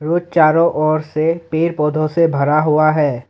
चारों ओर से पेड़ पौधों से भरा हुआ है।